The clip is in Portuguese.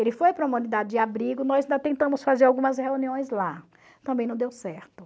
Ele foi para uma unidade de abrigo, nós ainda tentamos fazer algumas reuniões lá, também não deu certo.